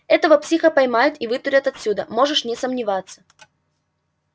этого психа поймают и вытурят отсюда можешь не сомневаться